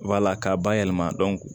k'a bayɛlɛma